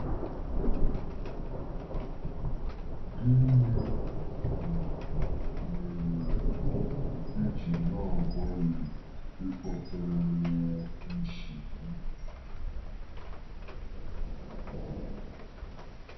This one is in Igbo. Gịnị um mere i ji na-agbalị ịkpatara ya nsogbu? ”